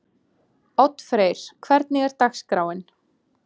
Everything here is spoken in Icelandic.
Oddfreyr, hvernig er dagskráin?